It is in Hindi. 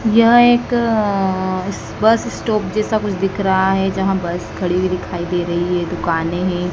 यहं एकं बस स्टॉप जैसा कुछ दिख रहा हैं जहां बस खड़ी हुई दिखाई दे रही है दुकानें है।